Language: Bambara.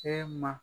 Cɛ ma